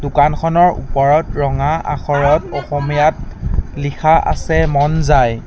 দোকানখনৰ ওপৰত ৰঙা আখৰত অসমীয়াত লিখা আছে মন যায়।